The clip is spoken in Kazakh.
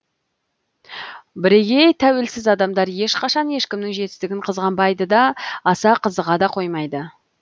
бірегей тәуелсіз адамдар ешқашан ешкімнің жетістігін қызғанбайды да аса қызыға да қоймайды